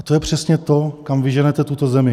A to je přesně to, kam vy ženete tuto zemi.